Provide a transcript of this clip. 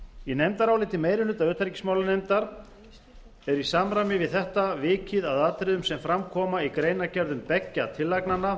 í nefndaráliti meiri hluta utanríkismálanefndar er í samræmi við þetta vikið að atriðum sem fram koma í greinargerðum beggja tillagnanna